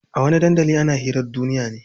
A wani dandalin ana hirar duniya ne.